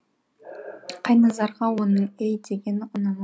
қайназарға оның ей дегені ұнамады